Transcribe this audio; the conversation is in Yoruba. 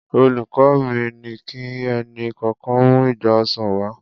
Olùkọ́ mi ni kí ẹnì kọ̀ọ̀kan mú igba ọsàn wá.